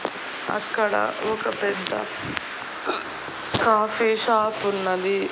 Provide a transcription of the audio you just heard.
అక్కడ ఒక పెద్ద కాఫీ షాప్ ఉన్నది.